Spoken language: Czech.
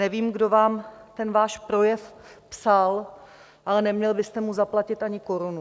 Nevím, kdo vám ten váš projev psal, ale neměl byste mu zaplatit ani korunu.